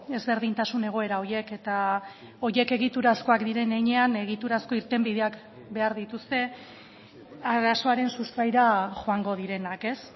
ezberdintasun egoera horiek eta horiek egiturazkoak diren heinean egiturazko irtenbideak behar dituzte arazoaren sustraira joango direnak ez